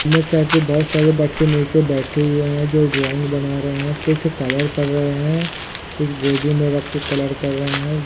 हम एक साइड पे बहुत सारे बच्चे निचे बेठे हुए हैं जो ड्राइंग बना रहें हैं कुछ कलर कर रहें हैं कुछ गोदी में रख के कलर कर रहें हैं।